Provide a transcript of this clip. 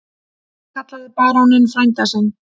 Hann kallaði baróninn frænda sinn.